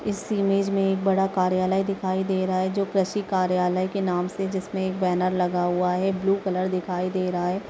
इस इमेज मे एक बड़ा कार्यालय दिखाई दे रहा है जो कृषि कार्यालय के नाम से जिसमे एक बैनर लगा हुआ है ब्लू कलर दिखाई दे रहा है।